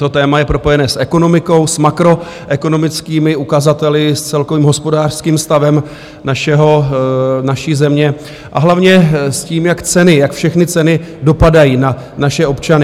To téma je propojené s ekonomikou, s makroekonomickými ukazateli, s celkovým hospodářským stavem naší země, a hlavně s tím, jak ceny, jak všechny ceny dopadají na naše občany.